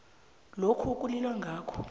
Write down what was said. lokho ekulilwa ngakho